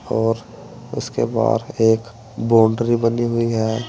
और उसके बाद एक बाउंड्री बनी हुई है।